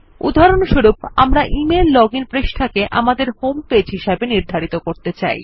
উদাহরণস্বরূপ আমরা email login পৃষ্ঠাকে আমাদের হোম পেজে হিসাবে নির্ধারিত করতে চাই